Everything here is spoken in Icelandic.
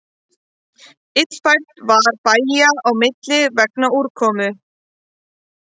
Illfært var bæja á milli vegna úrkomu